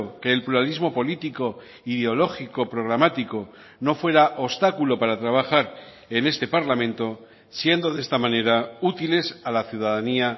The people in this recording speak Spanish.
que el pluralismo político ideológico programático no fuera obstáculo para trabajar en este parlamento siendo de esta manera útiles a la ciudadanía